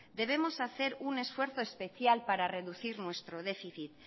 debemos hacer un esfuerzo especial para reducir nuestro déficit